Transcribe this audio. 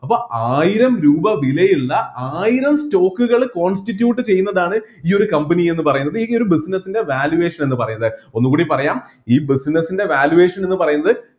അപ്പോ ആയിരം രൂപ വിലയുള്ള ആയിരം stock കൾ constitute ചെയ്യുന്നതാണ് ഈ ഒരു company എന്ന് പറയുന്നത് ഈ ഒരു business ൻ്റെ valuation എന്ന് പറയുന്നത് ഒന്നുകൂടി പറയാം ഈ business ൻ്റെ valuation എന്ന് പറയുന്നത്